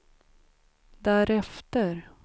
därefter